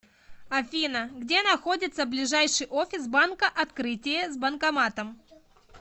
афина где находится ближайший офис банка открытие с банкоматом